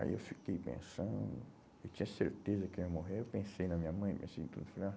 Aí eu fiquei pensando, eu tinha certeza que eu ia morrer, eu pensei na minha mãe, pensei em tudo.